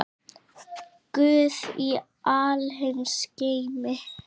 Guð í alheims geimi.